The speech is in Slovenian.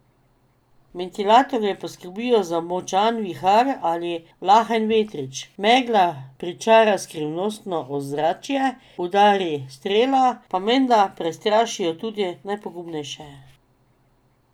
Ventilatorji poskrbijo za močan vihar ali lahen vetrič, megla pričara skrivnostno ozračje, udari strele pa menda prestrašijo tudi najpogumnejše.